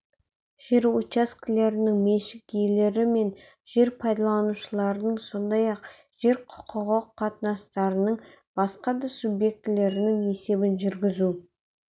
жер учаскелерінің меншік иелері мен жер пайдаланушылардың сондай-ақ жер құқығы қатынастарының басқа да субъектілерінің есебін жүргізу